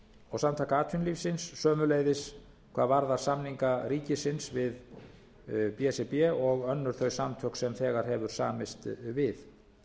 og samtaka atvinnulífsins sömuleiðis hvað varðar samninga ríkisins við b s r b og önnur þau samtök sem þegar hefur samist við